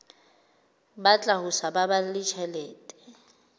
batla ho sa baballe tjhelete